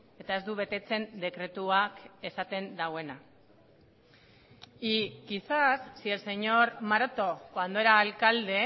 eta ez du betetzen dekretuak esaten duena y quizás si el señor maroto cuando era alcalde